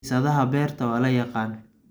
Bisadaha beerta waa la yaqaan.